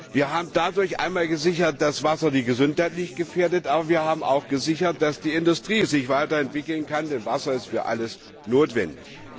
Wir haben dadurch zum einen gesichert, dass Wasser nicht die Gesundheit gefährdet, aber wir haben auch gesichert, dass die Industrie sich weiter entwickeln kann, denn Wasser ist für alles notwendig.